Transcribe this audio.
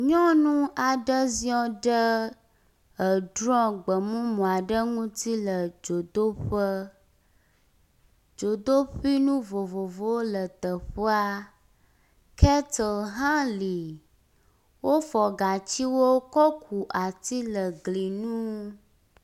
Nyɔnu aɖe ziɔ ɖe edrɔ̃ gbe mumu aɖe ŋuti le dzodoƒe. Dzodoƒui nu vovovowo le teƒea kettle hã li, wofɔ gatsiwo kɔ ku ati le gli nu.